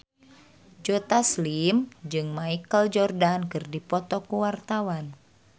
Joe Taslim jeung Michael Jordan keur dipoto ku wartawan